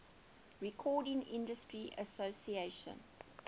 recording industry association